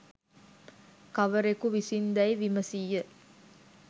කවරෙකු විසින් දැයි විමසීය.